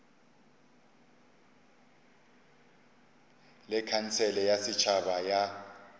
le khansele ya setšhaba ya